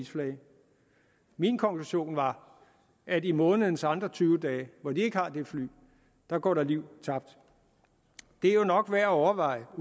min konklusion var at i månedens andre tyve dage hvor de ikke har det fly går der liv tabt det er jo nok værd at overveje og